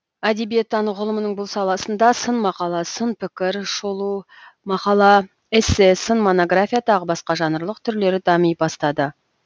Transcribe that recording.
әдебиеттану ғылымының бұл саласында сын мақала сын пікір шолу мақала эссе сын монография тағы басқа жанрлық түрлері дами бастады